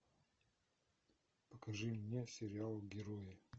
покажи мне сериал герои